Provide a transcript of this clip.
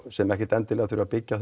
sem ekkert endilega þurfa að byggja á